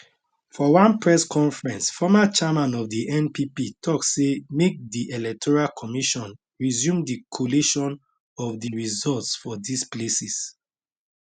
for one press conference former chairman of di npp tok say make di electoral commission resume di collation of di results for dis places